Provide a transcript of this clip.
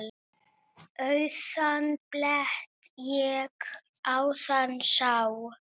Auðan blett ég áðan sá.